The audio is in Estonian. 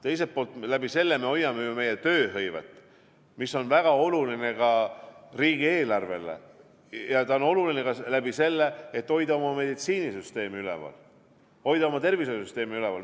Teiselt poolt sellega me hoiame ju tööhõivet, mis on väga oluline ka riigieelarvele, ja ta on oluline ka selleks, et hoida meditsiinisüsteemi üleval, hoida tervishoiusüsteemi üleval.